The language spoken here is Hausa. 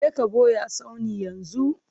Je ka ɓoye a tsaunin yanzu!